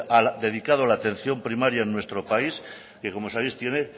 dedicado a la atención primaria en nuestro país que como sabéis tiene